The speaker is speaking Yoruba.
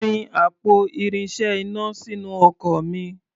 Fi àpò irinṣẹ́ iná sínú ọkọ̀ mi.